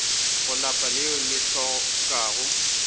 go lapa leo le hlokago